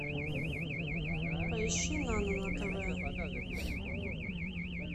поищи нано на тв